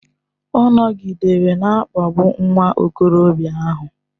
Ọ nọgidere na-akpagbu nwa okorobịa ahụ.